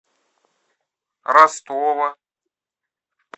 ростова